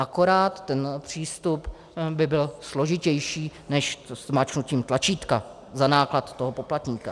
Akorát ten přístup by byl složitější než zmáčknutí tlačítka za náklad toho poplatníka.